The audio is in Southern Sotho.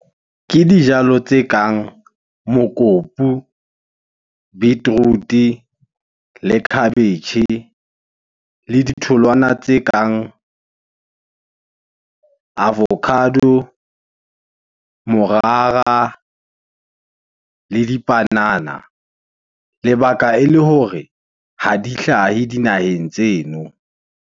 Ke dijalo tse kang mokopu, beetroot-e le khabetjhe. Le ditholwana tse kang avocado, morara, le dipanana. Lebaka ele hore ha di hlahe dinaheng tseno.